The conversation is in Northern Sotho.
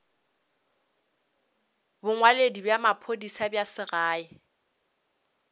bongwaledi bja maphodisa bja segae